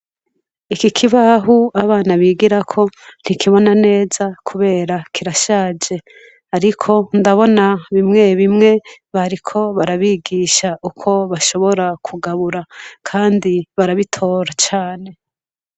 Iki kibaho abana bigirako ntikibona neza kubera kirashaje. Ariko ndabona bimwe bimwe bariko barabigisha uko bashobora kugabura kandi barabitora cane.